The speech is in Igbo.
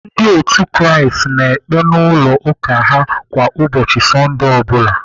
Ndị otu Kraist na-ekpe n'ụlọ ụka ha kwa ụbọchị Sọndee ọ bụla..